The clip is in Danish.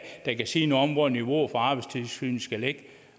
der kan sige noget om hvor niveauet for arbejdstilsynet skal ligge